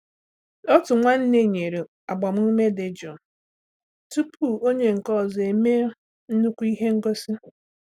Otu nwanne nyere agbamume dị jụụ tupu onye nke ọzọ emee nnukwu ihe ngosi.